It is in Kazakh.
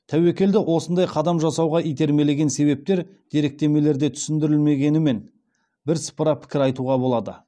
тәуекелді осындай қадам жасауға итермелеген себептер деректемелерде түсіндірілгенімен бірсыпыра пікір айтуға болады